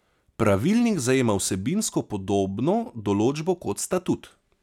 Pravilnik zajema vsebinsko podobno določbo kot statut.